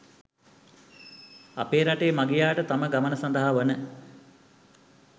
අපේ රටේ මගියාට තම ගමන සඳහා වන